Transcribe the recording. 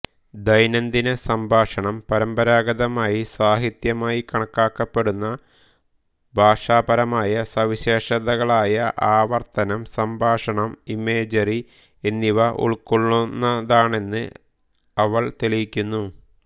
ദൈനംദിന സംഭാഷണം പരമ്പരാഗതമായി സാഹിത്യമായി കണക്കാക്കപ്പെടുന്ന ഭാഷാപരമായ സവിശേഷതകളായ ആവർത്തനം സംഭാഷണം ഇമേജറി എന്നിവ ഉൾക്കൊള്ളുന്നതാണെന്ന് അവൾ തെളിയിക്കുന്നു